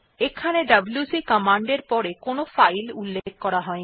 এখানে W C command এর পর কোনো ফাইল উল্লেখ করা হয়নি